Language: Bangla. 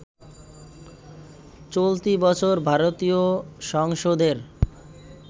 চলতি বছর ভারতীয় সংসদের